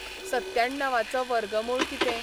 सत्त्याणवाचो वर्गमूळ कितें'?